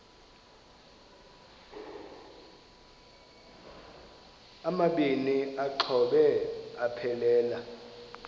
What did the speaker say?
amabini exhobe aphelela